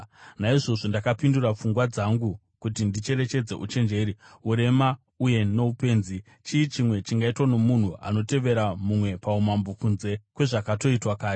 Naizvozvo ndakapindura pfungwa dzangu kuti ndicherechedze uchenjeri, urema uye noupenzi. Chii chimwe chingaitwa nomunhu anotevera mumwe paumambo kunze kwezvakatoitwa kare?